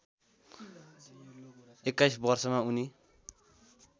२१ वर्षका उनी